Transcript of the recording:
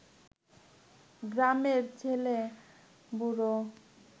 গ্রামের ছেলে-বুড়ো